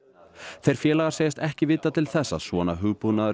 þeir félagar segjast ekki vita til þess að svona hugbúnaður